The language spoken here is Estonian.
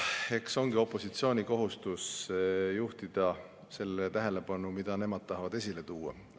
Eks opositsiooni kohustus ongi juhtida sellele tähelepanu, mida nemad tahavad esile tuua.